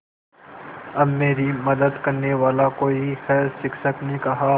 अब मेरी मदद करने वाला कोई है शिक्षक ने कहा